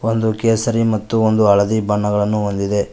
ಒಂದು ಕೇಸರಿ ಮತ್ತು ಒಂದು ಹಳದಿ ಬಣ್ಣಗಳನ್ನು ಹೊಂದಿದೆ.